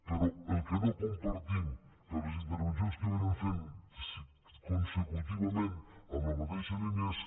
però el que no compartim per les intervencions que han anat fent consecutivament en la mateixa línia és